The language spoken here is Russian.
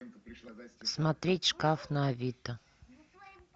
смотреть шкаф на авито